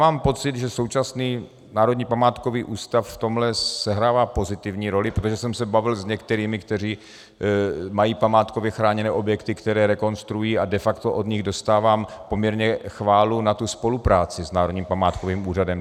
Mám pocit, že současný Národní památkový ústav v tomhle sehrává pozitivní roli, protože jsem se bavil s některými, kteří mají památkově chráněné objekty, které rekonstruují, a de facto od nich dostávám poměrně chválu na tu spolupráci s Národním památkovým ústavem.